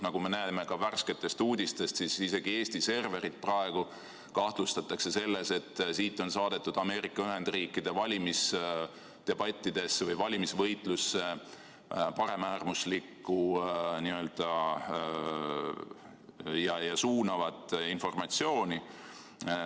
Nagu me näeme ka värsketest uudistest, siis praegu isegi kahtlustatakse, et Eesti serverist on saadetud Ameerika Ühendriikide valimisdebattidesse või valimisvõitlusse paremäärmuslikku ja suunavat informatsiooni.